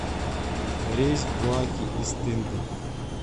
рейс в буаке из тынды